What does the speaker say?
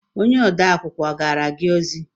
Onye ode akwụkwọ ọ gaara gị ozi?